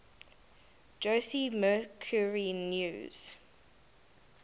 jose mercury news